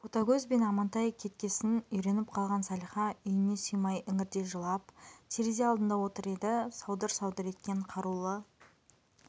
ботагөз бен амантай кеткесін үйреніп қалған салиха үйіне сыймай іңірде жылап терезе алдында отыр еді саудыр-саудыр еткен қарулы